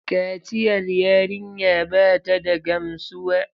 Kaciyar yarinya ba ta da gamsuwa.